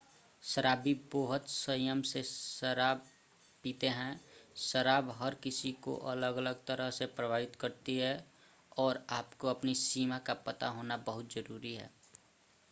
शराबी बोहत संयम से शराब पीते हैं. शराब हर किसी को अलग अलग तरह से प्रभावित करती है, और आपको अपनी सीमा का पता होना बहुत जरुरी है।